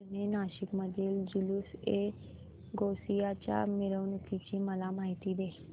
जुने नाशिक मधील जुलूसएगौसिया च्या मिरवणूकीची मला माहिती दे